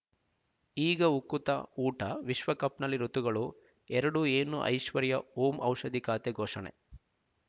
ಈಗ ಉಕುತ ಊಟ ವಿಶ್ವಕಪ್‌ನಲ್ಲಿ ಋತುಗಳು ಎರಡು ಏನು ಐಶ್ವರ್ಯಾ ಓಂ ಔಷಧಿ ಖಾತೆ ಘೋಷಣೆ